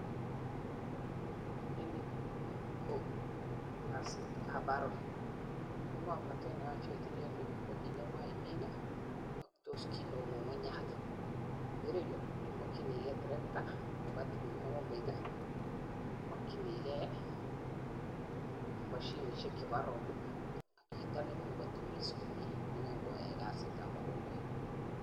En yu kasit ab aroit ko kit nemoche ko kit nemoche imin ak kit neu ngungunyat en ireyu I mokyinigei terekta nebo mokombet I mokyinigei mashinisiek chebo aroinik I mokyinigei chito ne ingen kotemis komie ne ingen koyai kasit ab mokombet